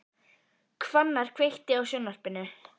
Hvannar, kveiktu á sjónvarpinu.